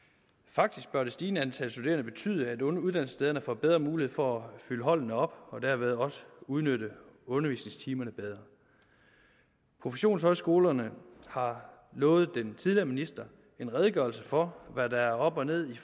faktisk bør det stigende antal studerende betyde at uddannelsesstederne får bedre mulighed for at fylde holdene op og derved også udnytte undervisningstimerne bedre professionshøjskolerne har lovet den tidligere minister en redegørelse for hvad der er op og ned